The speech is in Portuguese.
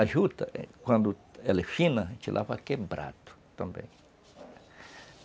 A juta, quando ela é fina, a gente lava quebrado também.